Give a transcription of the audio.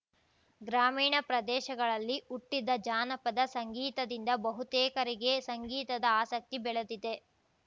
ಗ್ರಾಮೀಣ ಪ್ರದೇಶಗಳಲ್ಲಿ ಹುಟ್ಟಿದ ಜಾನಪದ ಸಂಗೀತದಿಂದ ಬಹುತೇಕರಿಗೆ ಸಂಗೀತದ ಆಸಕ್ತಿ ಬೆಳೆದಿದೆ